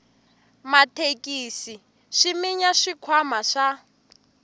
mathekisi swi minya swikhwama swa